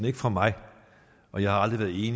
ikke fra mig for jeg har aldrig